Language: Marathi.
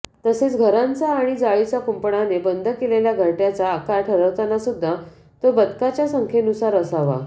तसेच घरांचा आणि जाळीच्या कुंपणाने बंद केलेल्या घरट्याचा आकार ठरवताना सुद्धा तो बदकाच्या संख्येनुसार असावा